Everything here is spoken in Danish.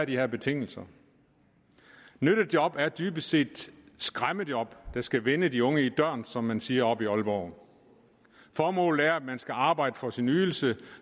de her betingelser nyttejob er dybest set skræmmejob der skal vende de unge i døren som man siger oppe i aalborg formålet er at man skal arbejde for sin ydelse